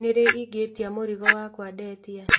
Nĩ rĩ ingĩtia mũrigo wakwa ndetia